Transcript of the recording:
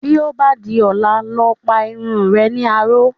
Bí ó bá di ọ̀la, lọ pa irun re ní aró.